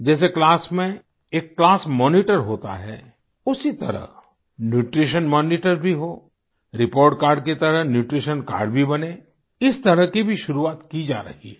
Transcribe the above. जैसे क्लास में एक क्लास मॉनिटर होता है उसी तरह न्यूट्रीशन मॉनिटर भी हो रिपोर्ट कार्ड की तरह न्यूट्रीशन कार्ड भी बने इस तरह की भी शुरुआत की जा रही है